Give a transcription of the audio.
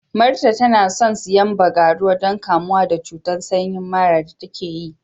Martha tana son siyan bagaruwa don kamuwa da cuta sanyi mara da take ji.